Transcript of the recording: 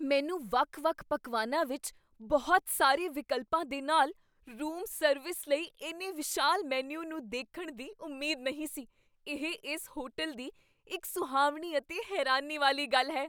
ਮੈਨੂੰ ਵੱਖ ਵੱਖ ਪਕਵਾਨਾਂ ਵਿੱਚ ਬਹੁਤ ਸਾਰੇ ਵਿਕਲਪਾਂ ਦੇ ਨਾਲ ਰੂਮ ਸਰਵਿਸ ਲਈ ਇੰਨੇ ਵਿਸ਼ਾਲ ਮੀਨੂ ਨੂੰ ਦੇਖਣ ਦੀ ਉਮੀਦ ਨਹੀਂ ਸੀ ਇਹ ਇਸ ਹੋਟਲ ਦੀ ਇੱਕ ਸੁਹਾਵਣੀ ਅਤੇ ਹੈਰਾਨੀ ਵਾਲੀ ਗੱਲ ਹੈ!